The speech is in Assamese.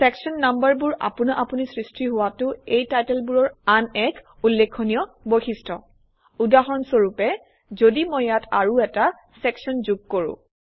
চেকচন নাম্বাৰবোৰ আপোনা আপুনি সৃষ্টি হোৱাটো এই টাইটেলবোৰৰ আন এক উল্লেখনীয় বৈশিষ্ট্য উদাহৰণস্বৰূপে যদি মই ইয়াত আৰু এটা চেকচন যোগ কৰোঁ